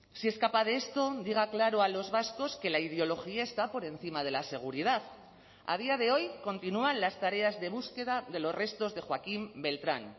si es capaz de esto diga claro a los vascos que la ideología está por encima de la seguridad a día de hoy continúan las tareas de búsqueda de los restos de joaquín beltrán